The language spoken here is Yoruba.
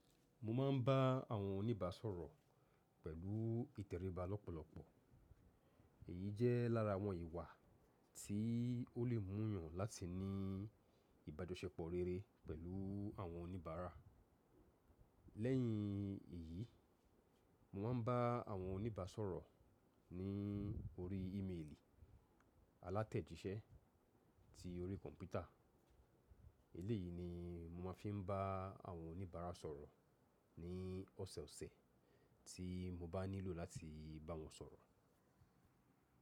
Mo máa ń bá àwọn oníbàá sọ̀rọ̀ pẹ̀lú ìtẹ̀ríba lọ́pọ̀lọpọ̀. Èyí jẹ́ lára àwọn ìwà tí ó lè mú yàn láti ní ìbájọ̀ṣẹ́pọ̀ rere pẹ̀lú àwọn oníbàárà. Lẹ́yìn èyí, mo máa ń bá àwọn oníbàrá sọ̀rọ̀ ní orí email, alátẹ̀jísẹ́ tí orí kọ̀mpútà. Eléyìí ni mo máa fi ń bá àwọn oníbàárà sọ̀rọ̀ ní ọ̀sọ̀ọ̀sẹ̀ tí mo bá nílò láti bá wọn sọ̀rọ̀.